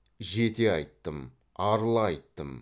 жете айттым арыла айттым